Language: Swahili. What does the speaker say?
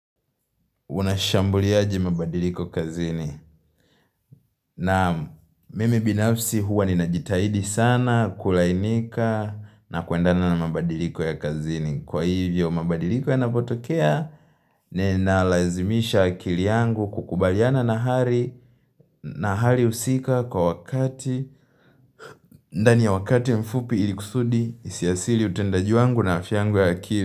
Unashambuliaje mabadiliko kazini Naam mimi binafsi huwa ninajitahidi sana kulainika na kuendana na mabadiliko ya kazini Kwa hivyo mabadiliko ya napotokea ninalazimisha akili yangu kukubaliana na hali husika kwa wakati ndani ya wakati mfupi ili kusudi isiathiri utendaji wangu na afya yangu ya akili.